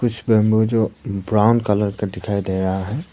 कुछ बंबू जो brown colour का दिखाई दे रहा है।